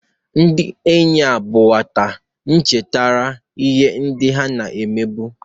Ndị enyi ha bụ nwata chetara ihe ndị ha na-emebu.